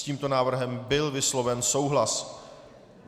S tímto návrhem byl vysloven souhlas.